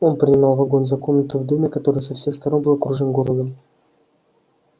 он принимал вагон за комнату в доме который со всех сторон был окружён городом